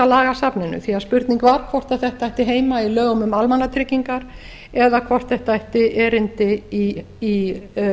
lagasafninu því spurning var hvort þetta ætti heima í lögum um almannatryggingar eða hvort þetta ætti erindi í